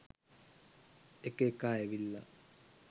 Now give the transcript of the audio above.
එක එකා ඇවිල්ල